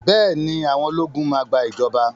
Bẹ́ẹ̀ ni, àwọn ológun máa gbà ìjọba.